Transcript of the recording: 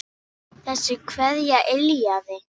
Þessi kveðja yljaði.